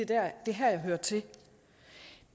det er her jeg hører til